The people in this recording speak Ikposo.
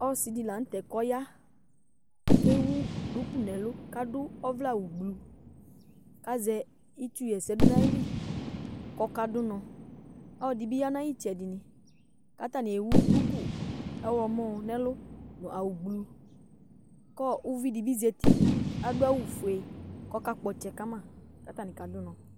Ɔsidi la nu tɛ ku ɔya kewu duku nu ɛlu azɛ itsu ɣa ɛsɛ du nayili kɔ kadu unɔ ɔlɔdi dibi ya nu ayu itsɛdi ku atani ewu duku ɔɣlɔmɔ nu ɛlu awu bluu ku uvidi dibi zati adu awu fue ku ɔkakpɔ ɔtsɛ kama katabi kadu unɔ